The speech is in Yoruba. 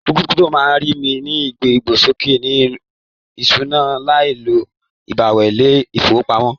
Kírípútò máa n ní igbesoke ìṣúná láì lo ibẹwo ilé ifowopamọ.